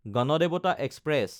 Ganadevata express